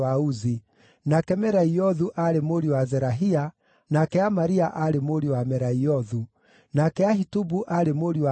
nake Meraiothu aarĩ mũriũ wa Zerahia, nake Amaria aarĩ mũriũ wa Meraiothu, nake Ahitubu aarĩ mũriũ wa Amaria,